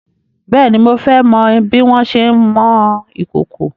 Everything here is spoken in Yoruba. Bèéni, mo fẹ́ mọ bí wọn ṣé ń mọ ìkòkò.